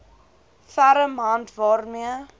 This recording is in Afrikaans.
ferm hand waarmee